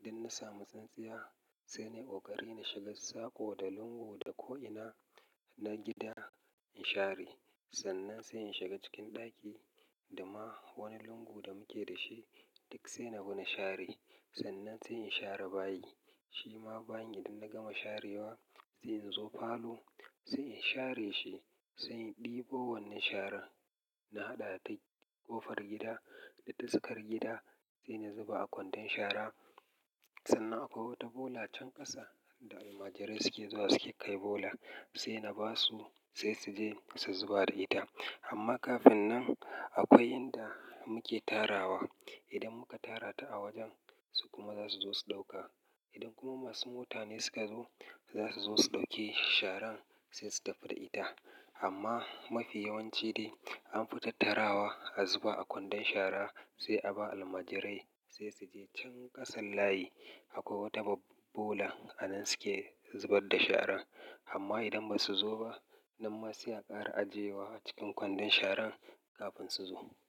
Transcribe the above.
Idan na samu tsintsiya, sai ni koƙari na shiga sako da lungu da ko ina na gida in share. Sannan sai in shiga cikin ɗaki, da ma wani lungu da muke da shi duk sai na bi na share. Sannan sai in share bayi, shi ma bayi idan na gama sharewa sai in zo falo sai in share shi. Sai in ɗebo wannan shara na haɗa ta ƙofar gida da duskar gida sai na zuba a kwandon shara. Sannan akwai wata bola can ƙasa da almajirai suke zuwa suke kai bola sai na ba su sai su je su zuba da ita. Amma kafin nan akwai inda muke tarawa. Idan muka tara ta a wajen su kuma za su zo su ɗauka. Idan kuma masu motane suka zo za su zo su ɗauke sharan sai su tafi da ita. Amma mafi yawanci dai anfi tattarawa a zuba a kwandon shara sai a ba almajirai sai su je can ƙasan layi. Akwai wata bola a nan suke zubar da shara. Amma idan ba su zo ba nan ma sai a ƙara ajiyewa a cikin kwandon sharan kafin su zo.